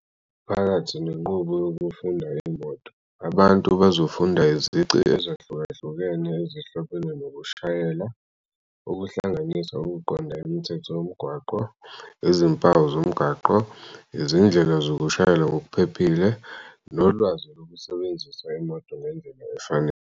Phakathi nenqubo yokufunda imoto, abantu bazofunda izici ezihlukahlukene ezihlobene nokushayela, okuhlanganisa ukuqonda imithetho yomgwaqo, izimpawu zomgwaqo, izindlela zokushayela ngokuphephile, nolwazi lokusebenzisa imoto ngendlela efanele.